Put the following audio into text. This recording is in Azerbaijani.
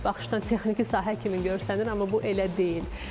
İlk baxışdan texniki sahə kimi görsənir, amma bu elə deyil.